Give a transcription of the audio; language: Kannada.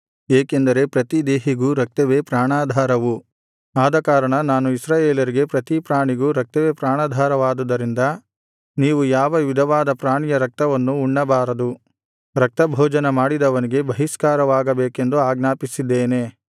ಏಕೆಂದರೆ ಪ್ರತಿದೇಹಿಗೂ ರಕ್ತವೇ ಪ್ರಾಣಾಧಾರವು ಆದಕಾರಣ ನಾನು ಇಸ್ರಾಯೇಲರಿಗೆ ಪ್ರತಿಪ್ರಾಣಿಗೂ ರಕ್ತವೇ ಪ್ರಾಣಾಧಾರವಾದುದರಿಂದ ನೀವು ಯಾವ ವಿಧವಾದ ಪ್ರಾಣಿಯ ರಕ್ತವನ್ನು ಉಣ್ಣಬಾರದು ರಕ್ತಭೋಜನ ಮಾಡಿದವನಿಗೆ ಬಹಿಷ್ಕಾರವಾಗಬೇಕೆಂದು ಆಜ್ಞಾಪಿಸಿದ್ದೇನೆ